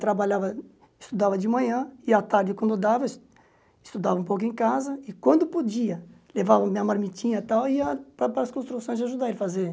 Trabalhava, estudava de manhã e, à tarde, quando dava, estudava um pouco em casa e, quando podia, levava minha marmitinha e tal e ia para as para as construções ajudar ele a fazer.